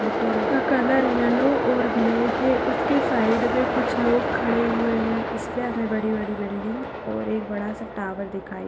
Auto का colour yellow और black है। उसके साइड मे कुछ लोग खड़े हुए है। ईसपे हमे बड़ी बड़ी बिल्डिंग और बड़ासा टावर दिखाई --